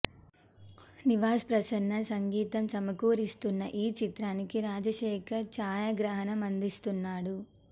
నివాస్ ప్రసన్న సంగీతం సమకూరుస్తున్న ఈ చిత్రానికి రాజశేఖర్ ఛాయాగ్రహణం అందిస్తున్నాడు